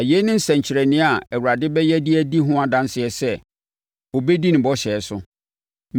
“ ‘Na yei ne nsɛnkyerɛnneɛ a Awurade bɛyɛ de adi ho adanseɛ sɛ, ɔbɛdi ne bɔhyɛ so: